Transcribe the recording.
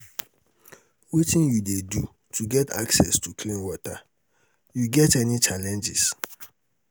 wetin you dey do to get access to clean water you get any challenges?